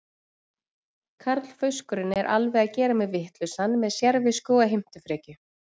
Karlfauskurinn er alveg að gera mig vitlausan með sérvisku og heimtufrekju.